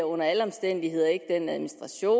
under alle omstændigheder ikke giver den administration